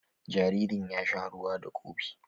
Jaririn ya sha ruwa da kofi.